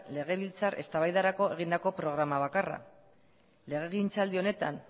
legebiltzar eztabaidarako egindako programa bakarra legegintzaldi honetan